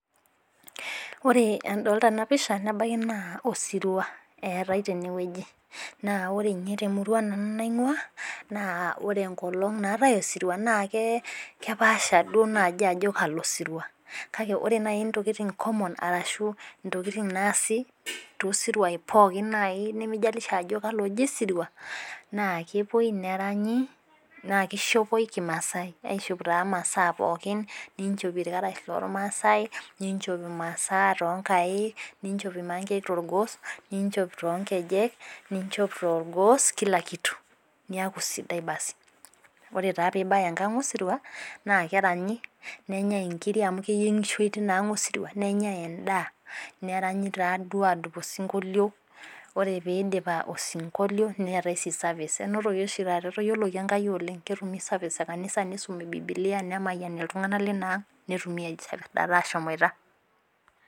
Ore adolta ena pisha. nebaiki naa osirua eetae tene wueji. naa ore ninye temurua nanu naingua. naa ore enkolong' naatae osirua naa keepasha duoo naaji ajo kalo sirua. kake ore naaji ntokitin common arashu ntokitin naasi. tosituai naaji. nimijalisja ajo kalo eji osirua naa ore ewueji neranyi naa kishopoi kimaasai aishop taa masaa pookin. ninchop illkarash loormaasae. ninchop imasaa too nkaik. ninchop irmankwk torgos. ninchop too nkejek. ninchop torgos Kila kitu. niaku sidai basi. oee taa pee ibaya enkang osirua naa keranyi. nenyae nkiri amu keyienhoshoi teina ang osirua. nenyae edaa. neranyo taaduo aadungu osinkolio. pre pee iidip osinkolio, neetae sii service enotoki oshi taata. etayioloki Enkai oleng. ketumi service e kanisa. nisumi bibilia nemayiani iltunganak leina ang. netum ninche aashomoita.